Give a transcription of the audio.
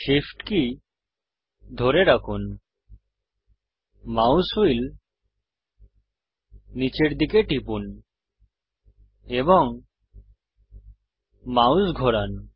Shift কী ধরে রাখুন মাউস হুইল নীচের দিকে টিপুন এবং মাউস ঘোরান